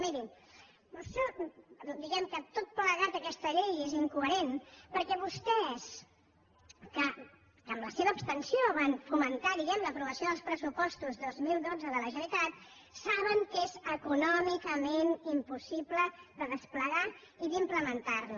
mirin diguem·ne que tot plegat aquesta llei és incoherent perquè vostès que amb la seva abstenció van fomentar diguem·ne l’aprovació dels pressupostos dos mil dotze de la generalitat saben que és econòmicament impossible de desplegar i d’implementar·la